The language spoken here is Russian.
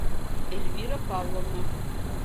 эльвира павловна